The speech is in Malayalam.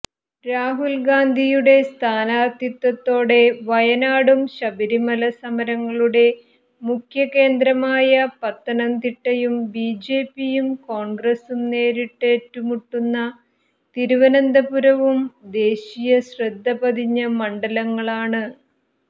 രാഹുൽ ഗാന്ധിയുടെ സ്ഥാനാർഥിത്വത്തോടെ വയനാടും ശബരിമല സമരങ്ങളുടെ മുഖ്യകേന്ദ്രമായ പത്തനംതിട്ടയും ബിജെപിയും കോൺഗ്രസും നേരിട്ടേറ്റുമുട്ടുന്ന തിരുവനന്തപുരവും ദേശീയശ്രദ്ധ പതിഞ്ഞ മണ്ഡലങ്ങളാണ്